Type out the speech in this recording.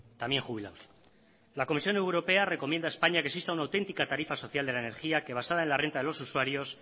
también jubilados la comisión europea recomienda a españa que exista una autentica tarifa social de la energía que basada en la renta de los usuarios